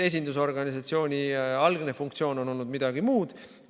Esindusorganisatsiooni algne funktsioon on olnud midagi muud.